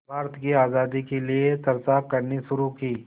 भारत की आज़ादी के लिए चर्चा करनी शुरू की